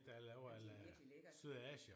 Men det er virkelig lækkert